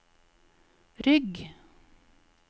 rygg